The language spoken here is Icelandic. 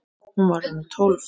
Hún var orðin tólf!